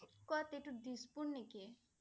ক'ত এইটো দিছপুৰ নেকি?